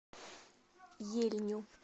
ельню